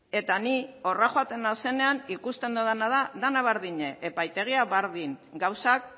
eta ni horra joaten naizenean ikusten dudana da dena berdina epaitegia berdin gauzak